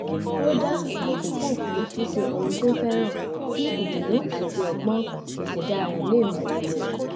ó dá àkókò fún ṣíṣe ohun tó fẹ́ràn kí ìdùnnú àti ọgbọ́n ìṣẹ̀dá rẹ̀ lè mókun